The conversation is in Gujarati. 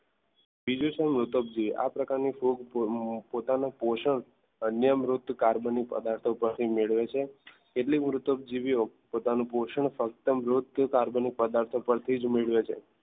બીજું છે મૃતકજીવી આ પ્રકારની ફૂગ પોતાનું પોષણ અન્ય મૃત કાર્બનિક પદાર્થો પાસેથી મેળવે છે તેટલી મૃતક જીવ્યો પોતાનું પોષણ કાર્બન કે અન્ય પદાર્થો પરથી જ મેળવે છે.